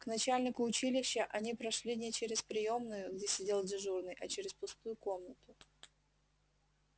к начальнику училища они прошли не через приёмную где сидел дежурный а через пустую комнату